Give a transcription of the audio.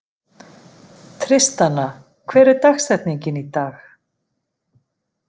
Tristana, hver er dagsetningin í dag?